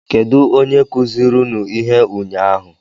Kedụ onye kụziri unu ihe ụnyaahụ?